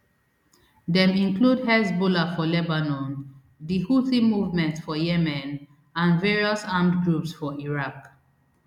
dem include hezbollah for lebanon di houthi movement for yemen and various armed groups for iraq